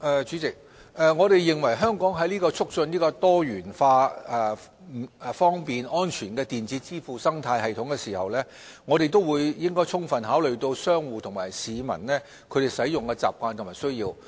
主席，我們認為，香港在促進多元化、方便和安全的電子支付生態系統時，亦應充分考慮商戶和市民的使用習慣和需要。